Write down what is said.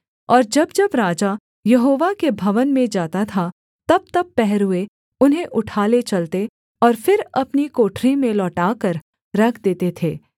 और जब जब राजा यहोवा के भवन में जाता था तबतब पहरुए उन्हें उठा ले चलते और फिर अपनी कोठरी में लौटाकर रख देते थे